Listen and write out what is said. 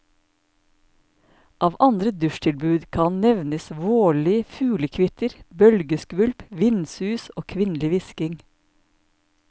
Av andre dusjtilbud kan nevnes vårlig fuglekvitter, bølgeskvulp, vindsus og kvinnelig hvisking.